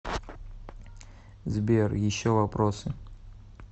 сбер еще вопросы